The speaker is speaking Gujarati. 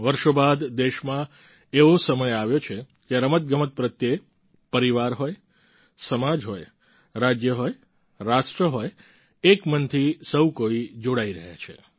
વર્ષો બાદ દેશમાં એવો સમય આવ્યો છે કે રમતગમત પ્રત્યે પરિવાર હોય સમાજ હોય રાજ્ય હોય રાષ્ટ્ર હોય એક મનથી સહુ કોઈ જોડાઈ રહ્યા છે